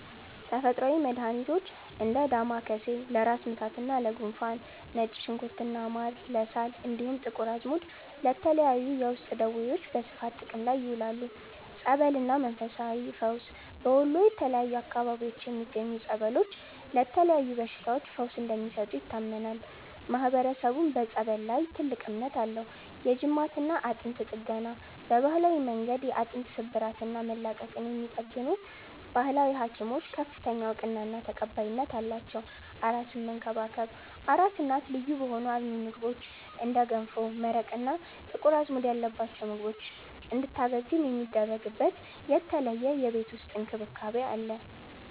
ተፈጥሮአዊ መድሃኒቶች፦ እንደ ዳማከሴ (ለራስ ምታትና ለጉንፋን)፣ ነጭ ሽንኩርትና ማር (ለሳል)፣ እንዲሁም ጥቁር አዝሙድ ለተለያዩ የውስጥ ደዌዎች በስፋት ጥቅም ላይ ይውላሉ። ጸበልና መንፈሳዊ ፈውስ፦ በወሎ የተለያዩ አካባቢዎች የሚገኙ ጸበሎች ለተለያዩ በሽታዎች ፈውስ እንደሚሰጡ ይታመናል፤ ማህበረሰቡም በጸበል ላይ ትልቅ እምነት አለው። የጅማትና አጥንት ጥገና፦ በባህላዊ መንገድ የአጥንት ስብራትና መላቀቅን የሚጠግኑ "ባህላዊ ሀኪሞች" ከፍተኛ እውቅናና ተቀባይነት አላቸው። አራስን መንከባከብ፦ አራስ እናት ልዩ በሆኑ አልሚ ምግቦች (እንደ ገንፎ፣ መረቅ እና ጥቁር አዝሙድ ያለባቸው ምግቦች) እንድታገግም የሚደረግበት የተለየ የቤት ውስጥ እንክብካቤ አለ።